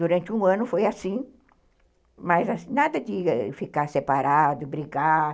Durante um ano foi assim, mas nada de ficar separado, brigar.